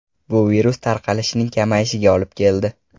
Bu virus tarqalishining kamayishiga olib keldi.